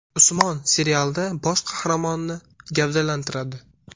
Usmon” serialida bosh qahramonni gavdalantiradi.